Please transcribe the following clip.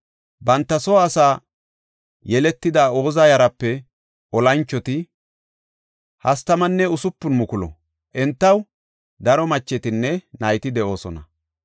Banta soo asaa yeletada Oza yaraape olanchoti 36,000; entaw daro machetinne nayti de7oosona.